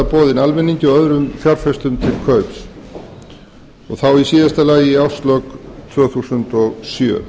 boðið almenningi og öðrum fjárfestum til kaups og þá í síðasta lagi í árslok tvö þúsund og sjö